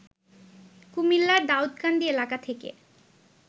কুমিল্লার দাউকান্দি এলাকা থেকে